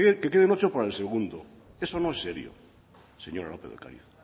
que queden ocho para el segundo eso no es serio señora lópez de ocariz